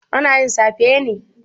Ana yin safe ne?